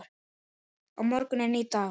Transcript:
Á morgun er nýr dagur.